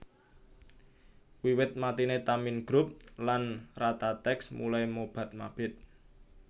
Wiwit matine Tamin Group lan Ratatex mulai mobat mabit